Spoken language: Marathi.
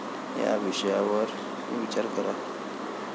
या विषयावर विचार करा.